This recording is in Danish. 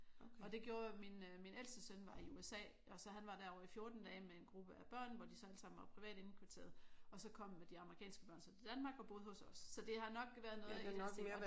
Og det gjorde min øh min ældste søn han var i USA. Så han var derovre i 14 dage med en gruppe af børn hvor de så alle sammen var privat indkvarteret og så kom de amerikanske børn så til Danmark og boede hos os. Så det har nok været noget i den henseende